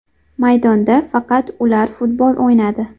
Maydonda faqat ular futbol o‘ynadi.